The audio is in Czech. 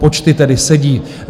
Počty tedy sedí.